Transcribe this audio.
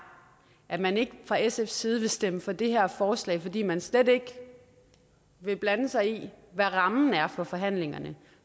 at man ikke fra sfs side vil stemme for det her forslag fordi man slet ikke vil blande sig i hvad rammen er for forhandlingerne